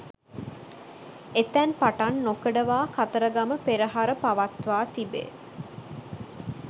එතැන් පටන් නොකඩවා කතරගම පෙරහර පවත්වා තිබේ